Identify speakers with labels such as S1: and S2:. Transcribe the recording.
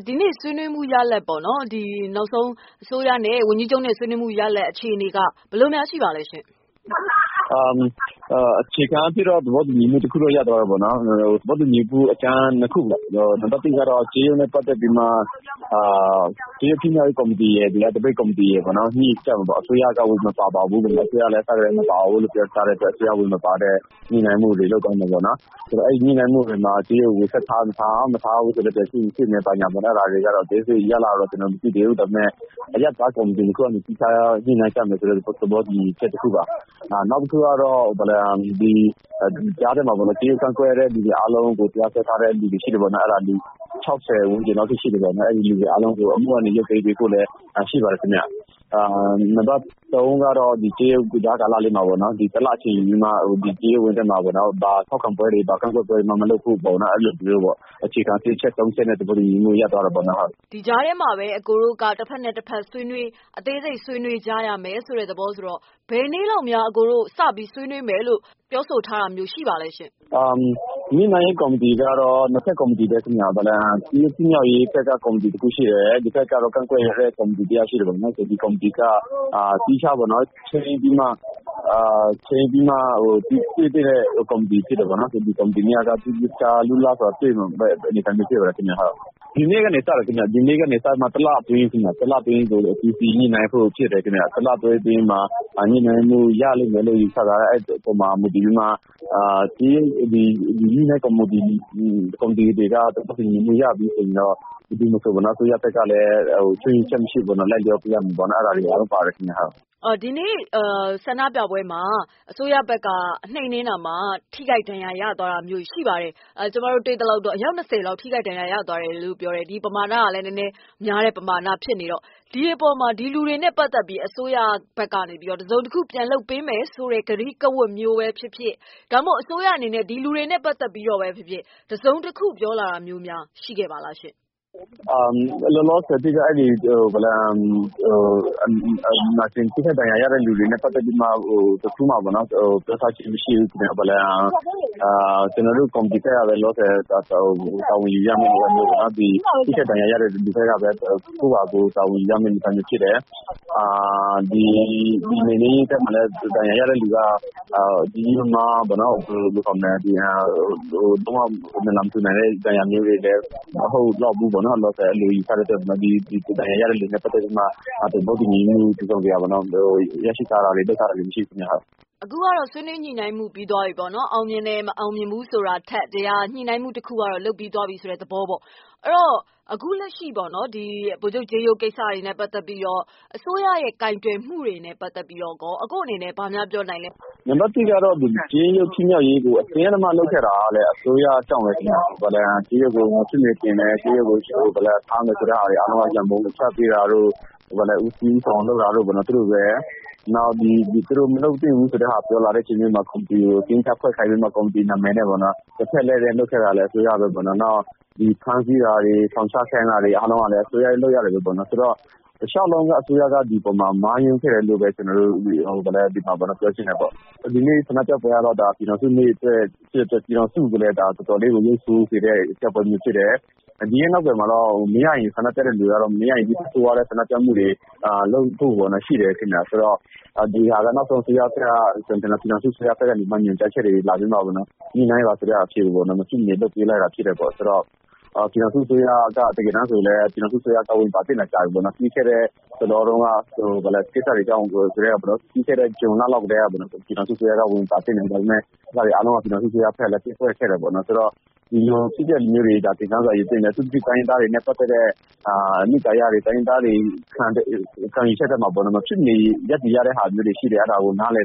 S1: ဒီနေ့ ဆွေးနွေးမှုရလဒ်ပေါ့နော်၊ အစိုးရနဲ့ ဝန်ကြီးချုပ်နဲ့ ဆွေးနွေးမှုရလဒ် အခြေအနေက ဘယ်လိုများရှိပါသလဲရှင့် ခ
S2: ွန်ဘီဒူး။ ။ အခြေခံအားဖြင့်တော့ သဘောတူညီမှုတခုရသွားတာပေါ့လေ။ သဘောတူညီမှုအကြမ်း၂ ခုပေါ့နော် ။ နံပတ်၁ကတော့ ကြေးရုပ်နဲ့ ပတ်သက်ပြီးတော့မှ ကြေးရုပ်ဖြစ်မြောက်ရေးကော်မတီရယ် သပိတ်ကော်မတီရယ် ညှိကြမယ်ပေါ့နော် အစိုးရကတော့ ဝင်မပါဘူး၊ အစကတည်းကလည်း မပါထားတဲ့အတွက် အစိုးရ ဝင်မပါတဲ့ ညှိနှိုင်းမှုတွေလုပ်သွားမယ်ပေါ့နော်။ အဲဒီညှိနှိုင်းမှုတွေမှာ ကြေးရုပ်ကို ဆက်ထားမထား ၊ မထားဘူးဆိုလည်း ဘယ်လိုလုပ်သင့်တယ်ဆိုတာတွေ အသေးစိတ်ရလဒ်ကတော့ ကျနော်တို့မသိသေးဘူး ဒါပေမယ့် အရပ်သားကော်မတီတွေ သီးခြားညှိနှိုင်းကြမယ်ဆိုတဲ့ သဘောတူညီချက်တခုပါ။ နောက်တခုက တက်ရောက်ကန့်ကွက်တဲ့လူတွေကို တရားစွဲထားတာတွေရှိတယ်။ လူ ၆၀ ဝန်းကျင်လောက်အထိရှိတယ်။ အဲဒီလူတွေအားလုံးကို အမှုကနေ ရုပ်သိမ်းပေးဖို့လည်း တောင်းဆိုထားတာ ရှိပါတယ်ခင်ဗျ။ နံပတ် ၃ ကတော့ ကြားကာလလေးမှာ ၁ လလောက်အချိန်ယူပြီးမှ ကြေးရုပ်ကို ဘာထောက်ခံပွဲတွေ၊ ကန့်ကွက်ပွဲတွေ မလုပ်ဖို့အတွက် အခြေခံ ၃ ချက်နဲ့ သဘောတူညီမှုတွေရသွားတယ်ပေါ့နော်။ မမေ
S1: ခ။ ။ဒီကြားထဲမှာပဲ အကိုတို့က တဖက်နဲ့တဖက် အသေးစိတ်ဆွေးနွေးကြရမယ်ဆိုတဲ့သဘောဆိုတော့ ဘယ်နေ့လောက်များစပြီးဆွေးနွေးမယ်လို့ ပြောဆိုထားတာတွေ ရှိပါသလဲ။ ခွန်ဘီဒူး
S2: ။ ။ညှိနှိုင်းရေးကော်မတီကတော့ ၂ ဖက်ကော်မတီပဲ ခင်ဗျ။ ကြေးရုပ်ဖြစ်မြောက်ရေးကော်မတီတခုရှိတယ်၊ ဒီဘက်ကတော့ ကန့်ကွက်ရေးကော်မတီတွေရှိတယ်။ ဒီကော်မတီတွေက သီးခြားပေါ့နော် ချိန်းပြီးမှ တွေ့သင့်တဲ့ကော်မတီတွေဖြစ်တယ်။ ဒီနေ့ကနေ စမယ်ခင်ဗျ။ ဒီနေ့ကနေ တလအတွင်းပေါ့နော် အသီးသီးညှိနှိုင်းဖို့ဖြစ်တယ်။ အဲဒီအပေါ်မှာ ညှိနှိုင်းမှုတွေရမယ်လို့ ယူဆထားတယ် အဲဒီအပေါ်မှာမူတည်ပြီးတော့ ဘယ်သူမဆို အစိုးရဘက်ကလည်း ချွင်းချက်မရှိ လိုက်လျောရမယ်ပေါေ့နာ် အဲဒါတွေအားလုံးပါတယ်ခင်ဗျ။ မမေခ။
S1: ။ဒီနေ့ဆန္ဒပြပွဲအတွင်း အစိုးရဘက်က နှိမ်နင်းတာမှာ အယောက် ၂၀ လောက်တော့ ထိခိုက်ဒဏ်ရာရတာတွေရှိပါတယ်။ ဒါကလည်း နည်းနည်းများတဲ့ ပမာဏဖြစ်နေတော့ ဒီအပေါ်မှာ ဒီလူတွေနဲ့ ပတ်သက်ပြီးတော့ အစိုးရဘက်ကနေ တစုံတခုပြန်လုပ်ပေးမယ် ဆိုတဲ့ ကတိကဝတ်မျိုးပဲဖြစ်ဖြစ် ဒါမှမဟုတ်အစိုးရအနေနဲ့ ဒီလူတွေနဲ့ ပတ်သက်ပြီးတော့ပဲဖြစ်ဖြစ် တစုံတခုပြောလာတာမျိုးများရှိခဲ့ပါသလား။
S2: ခွန်ဘီဒူး။ ။လောလောဆည်တော့ ထိခိုက်ဒဏ်ရာရတဲ့လူတွေနဲ့ ပတ်သက်ပြီးမှ တခုမှ ပြောထားခြင်းမရှိဘူးခင်ဗျ။ ကျနော်တို့ ကော်မတီဘက်ကပဲ လောလောဆည်တာဝန်ယူရမယ့် အနေအထားဖြစ်တယ်။ ဒဏ်ရာရတဲ့လူတွေလည်း လုံး၀ နလံမထူနိုင်တဲ့ဒဏ်ရာမျိုးတွေမဟုတ်ဘူးလို့ ယူဆတဲ့အတွက် ဒဏ်ရာရတဲ့လူတွေနဲ့ ပတ်သက်ပြီးတော့ သဘောတူညီမှုတစုံတရာရရှိထားတာမရှိဘူးခင်ဗျ။ မမေခ။ ။
S1: အခုကတော့ ဆွေးနွေးညှိနှိုင်းမှုပြီးသွားပြီပေ့ါနော်။ အောင်မြင်တယ် မအောင်မြင်ဘူးဆိုတာထက် ညှိနှိုင်းမှုတခုကတော့ လုပ်ပြီးသွားပြီဆိုတဲ့သဘောပေါ့နော်။ အဲဒီတော့ အခုလက်ရှိပေ့ါနော်။ ဗိုလ်ချုပ်ကြေးရုပ်ကိစ္စနဲ့ ပတ်သက်ပြီးတော့ အစိုးရကိုင်တွယ်မှုတွေနဲ့ ပတ်သက်ပြီးတော့ အကို့အနေနဲ့ ဘာများပြောနိုင်ပါသလဲ။ ခွန်
S2: ဘီဒူး။ ။နံပတ် ၁ ကတော့ ကြေးရုပ်ဖြစ်မြောက်ရေးကို အတင်အဓမ္မလုပ်ခဲ့တာကတော့ အစိုးရကြောင့်ပဲ ။ ကြေးရုပ်ကို မဖြစ်မနေ တင်တယ်။ ကြေးရုပ်ကို ထားမယ်ဆိုတာ အားလုံးက သူတို့ပ။ဲ နောက်သူတို့မလုပ်သင့်ဘူးလို့ ပြောလာတဲ့အခါမှာ ကော်မတီကို အတင်းဖွဲ့ခိုင်းပြီး လက်လွဲလုပ်ခဲ့တာလည်း အစိုးရပဲပေါ့နော်။ နောက်ပြီး ဖမ်းဆီးတာတွေ ထောင်ချခိုင်းတာတွေ အားလုံးကလည်း အစိုးရလုပ်ရက်တွေပေ့ါနော် ဆိုတော့ တလျောက်လုံးက အစိုးရက ဒီအပေါ်မှာ မှားယွင်းခဲ့တယ်လို့ ကျနော်တို့ ပြောချင်တယ်ပေါ့နော်။ ဒီနေ့ ဆန္ဒပြပွဲမှာဖြစ်ခဲ့တာက ပြည်ထောင်စုနေ့မှာ ပြည်ထောင်စုကို တော်တော်ရုပ်ဆိုးစေတဲ့ အရာမျိုးဖြစ်တယ်။ ဒီနောက်ကွယ်မှာတော့ ဆန္ဒပြတဲ့လူတွေကတော့ မရရင် နောက်ထက် ဆိုးဝါးတဲ့ ဆန္ဒပြမှုတွေ လုပ်ဖို့ရှိတယ်ခင်ဗျ ဆိုတော့ နောက်ဆုံး ပြည်ထောင်စုအစိုးရကနေ မဖြစ်မနေ ညှိနှိုင်းမှုတွေ လုပ်ပေးလိုက်တာဖြစ်တယ်။ ပြည်ထောင်စုအစိုးရကတကယ်တမ်း ဝင်ပါသင့်တာကြာပြီပေါ့နော်။ ပြီးခဲ့တဲ့ ဇွန်လတုန်းကတည်းက ပြည်ထောင်စုအစိုးရက ဝင်ပါသင့်တယ်။ အဲဒါတွေအားလုံးကို ပြည်ထောင်စုအစိုးရကလည်း ပျက်ကွက်ခဲ့တယ်ပေါ့နော်။ ဆိုတော့ ဒီလိုအဖြစ်အပျက်မျိုးတွေ သင်ခန်းစာယူသင့်တယ်။ အထူးသဖြင့် တိုင်းရင်းသားတွေနဲ့ ပတ်သက်တဲ့ အနစ်သာရတွေ ၊ တိုင်းရင်းသားတွေ ခံယူချက်ထဲမှာ မဖြစ်မနေ ရပ်တည်ရတာမျိုးတွေရှိတယ်။ အဲဒါကို နားလ